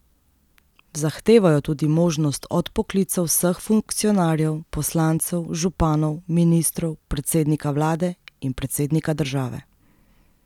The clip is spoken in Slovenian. Zahtevajo tudi možnost odpoklica vseh funkcionarjev, poslancev, županov, ministrov, predsednika vlade in predsednika države.